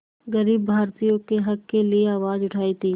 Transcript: ग़रीब भारतीयों के हक़ के लिए आवाज़ उठाई थी